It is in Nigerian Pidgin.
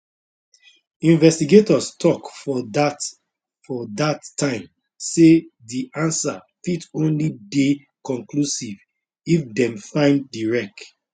investigators tok for dat for dat time say di answer fit only dey conclusive if dem find di wreck